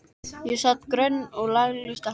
Þar sat grönn og lagleg stelpa.